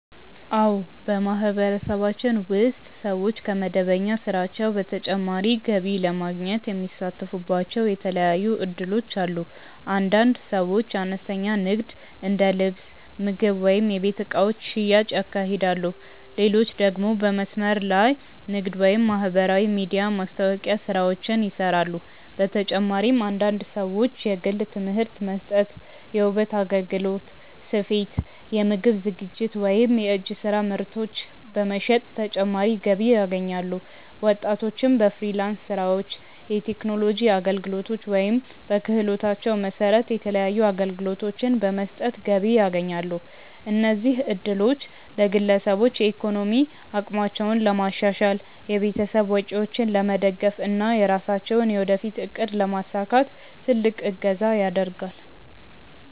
አዎ፣ በማህበረሰባችን ውስጥ ሰዎች ከመደበኛ ስራቸው በተጨማሪ ገቢ ለማግኘት የሚሳተፉባቸው የተለያዩ እድሎች አሉ። አንዳንድ ሰዎች አነስተኛ ንግድ እንደ ልብስ፣ ምግብ ወይም የቤት እቃዎች ሽያጭ ያካሂዳሉ፣ ሌሎች ደግሞ በመስመር ላይ ንግድ ወይም የማህበራዊ ሚዲያ ማስታወቂያ ስራዎችን ይሰራሉ። በተጨማሪም አንዳንድ ሰዎች የግል ትምህርት መስጠት፣ የውበት አገልግሎት፣ ስፌት፣ የምግብ ዝግጅት ወይም የእጅ ስራ ምርቶች በመሸጥ ተጨማሪ ገቢ ያገኛሉ። ወጣቶችም በፍሪላንስ ስራዎች፣ የቴክኖሎጂ አገልግሎቶች ወይም በክህሎታቸው መሰረት የተለያዩ አገልግሎቶችን በመስጠት ገቢ ያስገኛሉ። እነዚህ እድሎች ለግለሰቦች የኢኮኖሚ አቅማቸውን ለማሻሻል፣ የቤተሰብ ወጪዎችን ለመደገፍ እና የራሳቸውን የወደፊት እቅድ ለማሳካት ትልቅ እገዛ ያደርጋል።